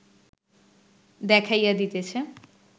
দেখাইয়া দিতেছে